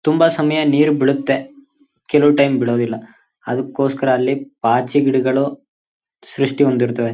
ತುಂಬ ಸಮಯ ನೀರು ಬೀಳುತ್ತೆ. ಕೆಲುವು ಟೈಮ್ ಬೀಳೋದಿಲ್ಲ ಅದ್ಕೋಸ್ಕರ ಅಲ್ಲಿ ಪಾಚ್ಚಿ ಗಿಡಗಳು ಸೃಷ್ಟಿ ಹೊಂದಿರ್ತವೆ.